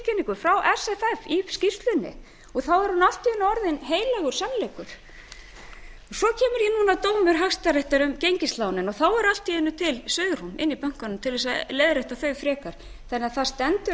fréttatilkynningu frá sff í skýrslunni og þá er hún allt í einu orðin heilagur sannleikur svo kemur núna dómur hæstaréttar um gengislánin og þá er allt í einu til svigrúm í bönkunum til að leiðrétta þau frekar þannig að það stendur